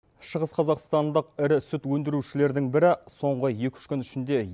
шығыс қазақстандық ірі сүт өндірушілердің бірі соңғы екі үш күн ішінде